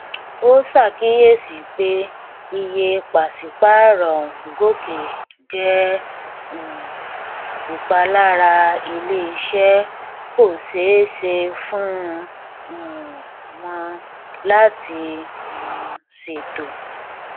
ó ṣàkíyèsí pé iye pàṣípàrọ ń gòkè jẹ um ìpalára ilé iṣẹ kò ṣeé ṣe fún um wọn láti um ṣètò